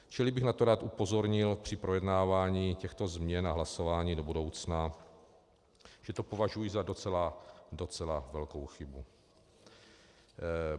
Čili bych na to rád upozornil při projednávání těchto změn a hlasování do budoucna, že to považuji za docela velkou chybu.